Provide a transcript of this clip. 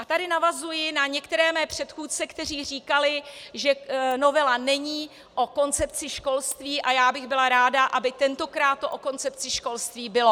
A tady navazuji na některé své předchůdce, kteří říkali, že novela není o koncepci školství, a já bych byla ráda, aby tentokrát to o koncepci školství bylo.